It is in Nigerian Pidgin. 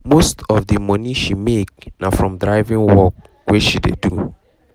most of the money she make na from driving work wey she dey do